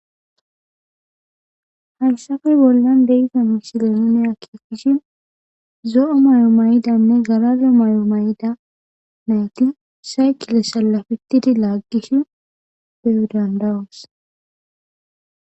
Hayssafe bollan deyiza misilenone akkekkishi zo7o mayo mayidanne garabyo mayo mayida nayti saykile sallafittidi laaggishi beyo dandawus.